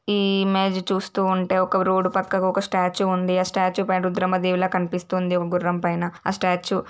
ఈ మెసేజ్ చూస్తుంటే ఒక రోడ్డు పక్కన ఒక స్టాచు ఉంది ఆ స్టాచు పైన రుద్రమదేవి లా కనిపిస్తుంది ఒక గుర్రం పైన ఆ స్టాచ.